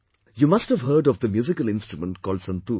You must have heard of the musical instrument called santoor